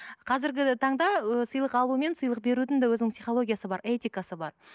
қазіргі таңда ы сыйлық алу мен сыйлық берудің де өзінің психологиясы бар этикасы бар